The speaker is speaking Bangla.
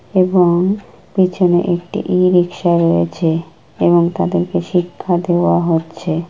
এবং পিছনে একটি ইরিকশা রয়েছে এবং তাদেরকে শিক্ষা দেওয়া হচ্ছে।